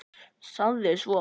Sagði svo: